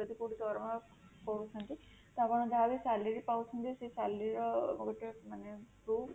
ଯଦି କୋଉଠି ଦରମା ପାଉଛନ୍ତି ତ ଆପଣ ଯାହା ବି salary ପାଉଛନ୍ତି ସେ salary ର ଗୋଟେ ମାନେ proof